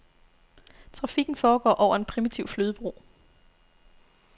Trafikken foregår over en primitiv flydebro.